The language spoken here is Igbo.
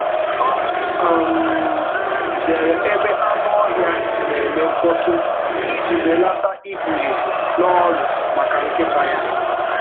Ọ zere ebe anụ ọhịa na-eme mkpọtụ iji um belata ikpughe n’ọrịa maka um nkịta um ya.